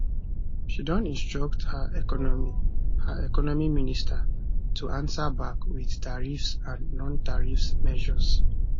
she don instruct her economy her economy minister to ansa back wit tariffs and nontariff measures